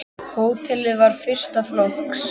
Hótelið var fyrsta flokks.